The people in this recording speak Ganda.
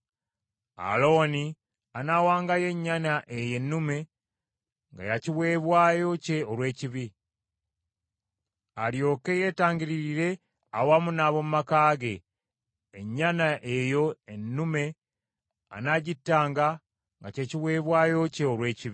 “Alooni anaawangayo ennyana eyo ennume nga ya kiweebwayo kye olw’ekibi, alyoke yeetangiririre awamu n’ab’omu maka ge; ennyana eyo ennume anaagittanga nga kye kiweebwayo kye olw’ekibi.